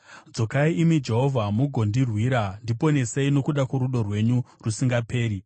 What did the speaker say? Dzokai, imi Jehovha, mugondirwira; ndiponesei nokuda kworudo rwenyu rusingaperi.